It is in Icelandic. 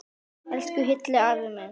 Elsku Hilli afi minn.